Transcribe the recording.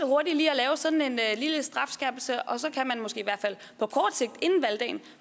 hurtigt lige at lave sådan en lille strafskærpelse og så kan man måske